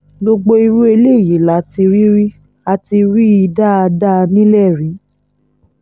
gbogbo irú eléyìí la ti rí rí a ti rí i dáadáa nílẹ̀ yìí